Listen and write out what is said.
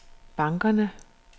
bankerne